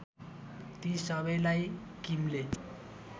ती सबैलाई किमले